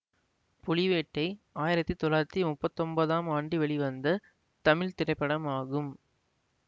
புலிவேட்டை ஆயிரத்தி தொள்ளாயிரத்தி முப்பத்தி ஒன்பதாம் ஆண்டு வெளிவந்த தமிழ் திரைப்படமாகும்